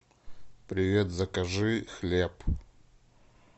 привет закажи хлеб